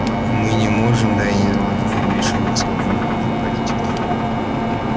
мы не можем да и не должны вмешиваться во внутреннюю политику